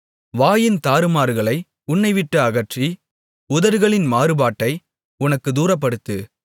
வாயின் தாறுமாறுகளை உன்னைவிட்டு அகற்றி உதடுகளின் மாறுபாட்டை உனக்குத் தூரப்படுத்து